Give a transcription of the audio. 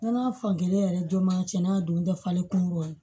Nɔnɔ fan kelen yɛrɛ don ma cɛnna a don tɛ falen kungo ye